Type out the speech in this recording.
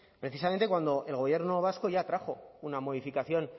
precisamente cuando el gobierno vasco ya trajo una modificación